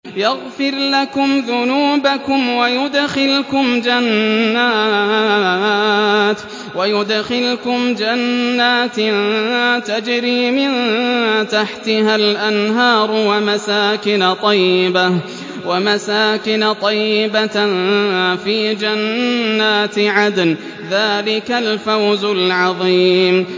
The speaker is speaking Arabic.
يَغْفِرْ لَكُمْ ذُنُوبَكُمْ وَيُدْخِلْكُمْ جَنَّاتٍ تَجْرِي مِن تَحْتِهَا الْأَنْهَارُ وَمَسَاكِنَ طَيِّبَةً فِي جَنَّاتِ عَدْنٍ ۚ ذَٰلِكَ الْفَوْزُ الْعَظِيمُ